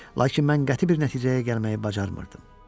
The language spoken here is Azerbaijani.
Lakin mən qəti bir nəticəyə gəlməyi bacarmırdım.